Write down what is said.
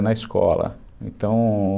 Na escola, então...